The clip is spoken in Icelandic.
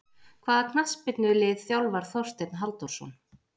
Hvaða knattspyrnulið þjálfar Þorsteinn Halldórsson?